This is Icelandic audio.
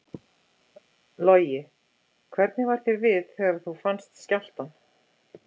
Logi: Hvernig var þér við þegar þú fannst skjálftann?